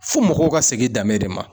Fo mɔgɔw ka segin danbe de ma.